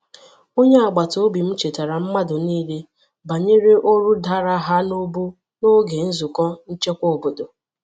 Onye agbataobi m chetara mmadu nile banyere órú dara ha n'ubu n'oge nzuko nchekwa obodo.